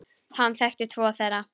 Hann þekkti tvo þeirra.